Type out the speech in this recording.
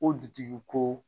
O dutigi ko